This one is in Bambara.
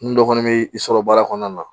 N dɔ kɔni bɛ i sɔrɔ baara kɔnɔna na